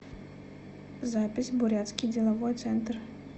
запись бурятский деловой центр